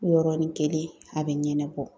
Yɔrɔnin kelen , a bɛ ɲɛnɛbɔ.